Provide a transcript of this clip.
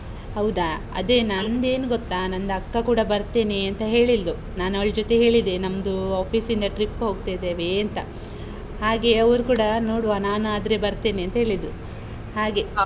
ಹೌದಾ? ಅದೇ ನಂದೇನ್ ಗೊತ್ತಾ ನಂದ್ ಅಕ್ಕ ಕೂಡ ಬರ್ತೇನೆ ಅಂತ ಹೇಳಿದ್ಲು. ನಾನು ಅವಳ್ ಜೊತೆ ಹೇಳಿದೆ, ನಮ್ದು office ನಿಂದ trip ಹೋಗ್ತಿದೇವೆ ಅಂತ. ಹಾಗೆ ಅವರೂ ಕೂಡ ನೋಡುವ, ನಾನು ಆದ್ರೆ ಬರ್ತೇನೆ ಅಂತ ಹೇಳಿದ್ರು, ಹಾಗೆ.